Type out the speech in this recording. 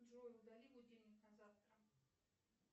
джой удали будильник на завтра